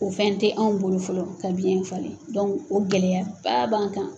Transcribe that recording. O fɛn tɛ anw bolo fɔlɔ ka biɲɛ falen, o gɛlɛya ba b'an kan.